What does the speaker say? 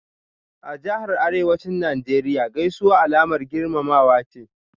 A Jahar Arewacin Najeriya Gaisuwa Alamar girmamawa ce.